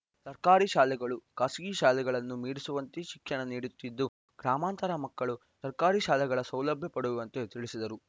ಸರ್ಕಾರಿ ಶಾಲೆಗಳು ಖಾಸಗಿ ಶಾಲೆಗಳನ್ನು ಮೀರಿಸುವಂತೆ ಶಿಕ್ಷಣ ನೀಡುತ್ತಿದ್ದು ಗ್ರಾಮಾಂತರ ಮಕ್ಕಳು ಸರ್ಕಾರಿ ಶಾಲೆಗಳ ಸೌಲಭ್ಯ ಪಡೆಯುವಂತೆ ತಿಳಿಸಿದರು